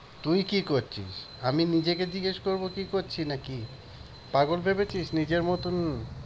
তুই কি করছিস? আমি নিজেকে জিজ্ঞেস করব কি করছি নাকি? পাগল ভেবেছিস নিজের মতন?